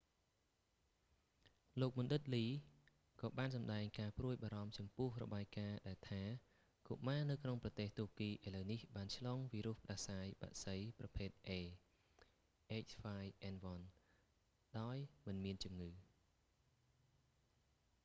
លោកបណ្ឌិតលី lee ក៏បានសម្តែងការព្រួយបារម្ភចំពោះ​របាយ​ការណ៍​ដែលថា​កុមារនៅក្នុងប្រទេសទួរគី​ឥឡូវនេះ​បាន​ឆ្លង​វីរុស​ផ្តាសាយ​បក្សី​ប្រភេទ a h5n1 ដោយមិនមានជំងឺ។